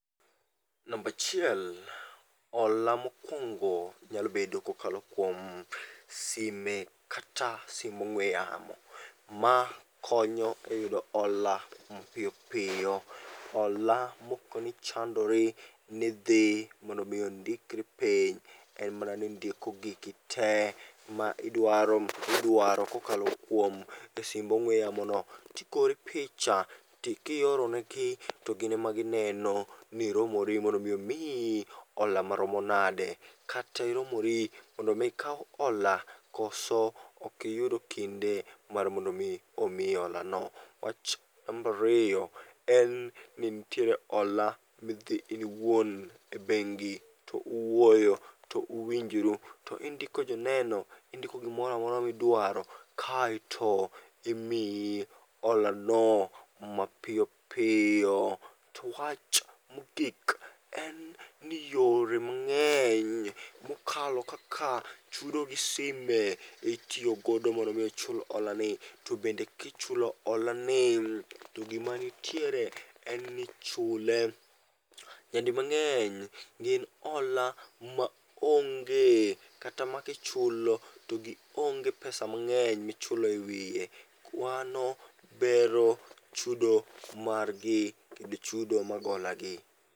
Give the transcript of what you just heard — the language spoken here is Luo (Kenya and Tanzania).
Nambachiel, hola mokwongo nyalobedo kokalo kuom sime kata sim ong'we yamo makonyo e yudo hola mapiyopiyo. Hola moko nichandori nidhi mondomiondikri piny en mana ni indiko gigi te ma idwaro kokalo kuom e simb ong'we yamo no. Tigori picha to kioronegi, togin ema gineno ni iromori mondo mi omiyi hola maromo nade kata iromori mondo mi ikaw hola koso okiyudo kinde mar mondo mi omiyi hola no. Wach nambariyo en ni nitie hola midhi iwuon e bengi to uwuoyo to unwinjoru to indiko joneno, indiko gimoramora midwaro keto imiyi holano mapiyopiyo. To wach mogik en ni yore mang'eny mokalo kaka chudo gi sime itiyogo mondo mi chul hola ni. To bende kichulo hola ni to gima nitiere en nichule. Nyadi mang'eny gin hola maonge kata ma kichulo to gionge pesa mang'eny kichulo e wiye. Kwano bero chudo margi kendo chudo mag hola gi.